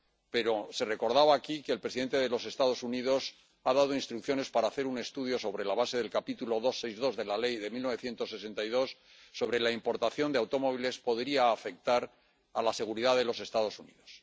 Pero se recordaba aquí que el presidente de los Estados Unidos ha dado instrucciones para hacer un estudio, sobre la base de la sección 232 de la Ley de 1962, acerca de si la importación de automóviles podría afectar a la seguridad de los Estados Unidos.